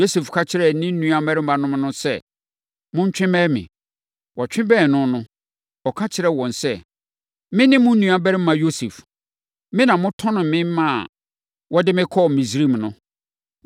Yosef ka kyerɛɛ ne nuammarimanom no sɛ, “Montwe mmɛn me.” Wɔtwe bɛn no no, ɔka kyerɛɛ wɔn sɛ, “Mene mo nuabarima Yosef. Me na motɔnee me maa wɔde me kɔɔ Misraim no.